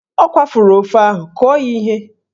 Ọ kwafuru ofe ahụ, kụọ ya ihe!